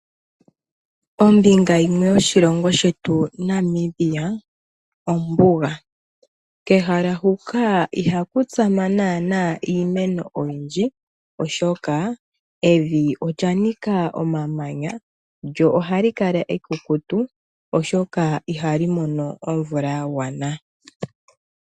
Ombinga yimwe yoshilongo shetu Namibia ombuga kehala huka ihaku tsama naana iimeno oyindji oshoka evi limwe olya nika omamanya lyo ohali kala ekukutu oshoka ihali mono omvula ya gwana.